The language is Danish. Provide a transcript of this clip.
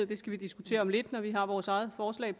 det skal vi diskutere om lidt når vi har vores eget forslag